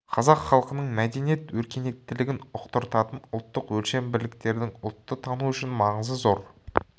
қазақ халқының мәдениет өркениеттілігін ұқтыртатын ұлттық өлшем бірліктердің ұлтты тану үшін маңызы зор